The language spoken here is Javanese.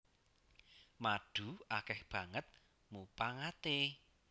Madu akèh banget mupangaté